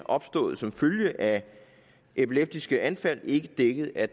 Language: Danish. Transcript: opstået som følge af epileptiske anfald ikke dækket af